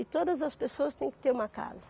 E todas as pessoas têm que ter uma casa.